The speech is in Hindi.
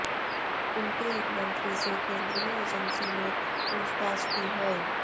उनके एक मंत्री से केंद्रीय एजेंसी ने पूछताछ की है